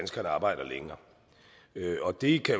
skal arbejde længere og det kan